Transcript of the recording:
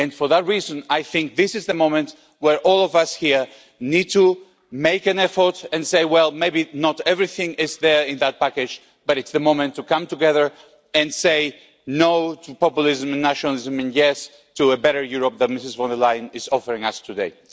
For that reason I think this is the moment when all of us here need to make an effort and say, well, maybe not everything is there in this package, but it's the moment to come together and say no' to populism and nationalism and yes' to a better Europe that Ms von der Leyen is offering us today.